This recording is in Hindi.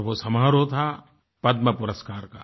और वो समारोह था पद्मपुरस्कार का